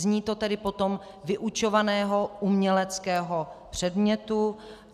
Zní to tedy potom "vyučovaného uměleckého předmětu".